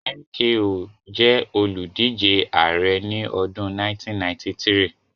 MKO jẹ́ olùdíje ààrẹ́ ní ọdún 1993